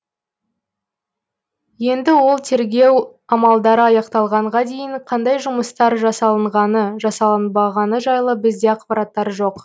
енді ол тергеу амалдары аяқталғанға дейін қандай жұмыстар жасалғаны жасалынбағыны жайлы бізде ақпараттар жоқ